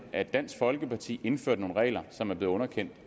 at dansk folkeparti indførte nogle regler som er blevet underkendt